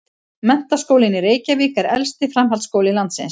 Menntaskólinn í Reykjavík er elsti framhaldsskóli landsins.